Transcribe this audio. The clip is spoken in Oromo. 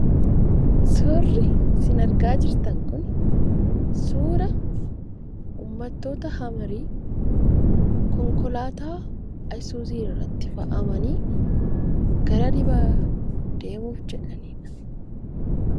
Suurri isin argaa jirtan kun suura uummattoota Hamarii , konkolaataa Isuuzuu irratti fe'amanii gara dhibaa deemuuf jedhanidha.